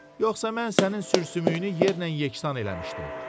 Yoxsa mən sənin sürsümüyünü yerlə yeksan eləmişdim.